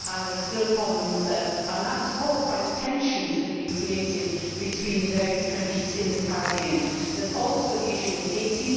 There are still problems caused by the tensions that have been created between the various countries in the Caribbean. There is also the issue of Haiti.